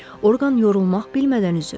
Orqan yorulmaq bilmədən üzür.